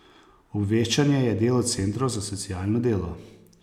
Obveščanje je delo centrov za socialno delo.